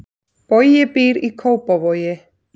Bogi býr í Kópavogi.